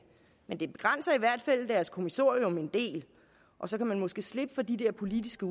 men det begrænser i hvert fald deres kommissorium en del og så kan man måske slippe for de der politiske